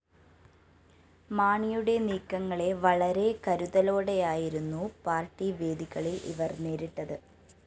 മാണിയുടെ നീക്കങ്ങളെ വളരെ കരുതലോടെയായിരുന്നു പാർട്ടി വേദികളില്‍ ഇവര്‍ നേരിട്ടത്‌